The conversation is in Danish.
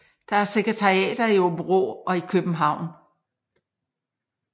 Der er sekretariater i Aabenraa og i København